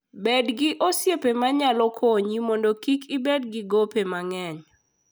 Bed gi osiepe ma nyalo konyi mondo kik ibed gi gope mang'eny.